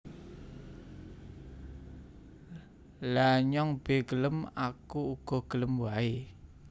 Lha nyong be gelem Aku uga gelem wae